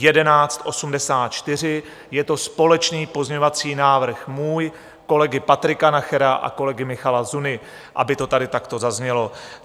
Je to společný pozměňovací návrh můj, kolegy Patrika Nachera a kolegy Michala Zuny, aby to tady takto zaznělo.